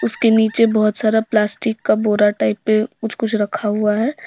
उसके नीचे बहुत सारा प्लास्टिक का बोरा टाइप में कुछ कुछ रखा हुआ है।